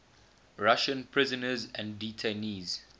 russian prisoners and detainees